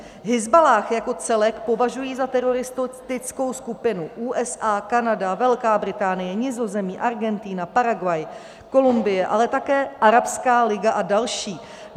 Hizballáh jako celek považují za teroristickou skupinu USA, Kanada, Velká Británie, Nizozemí, Argentina, Paraguay, Kolumbie, ale také Arabská liga a další.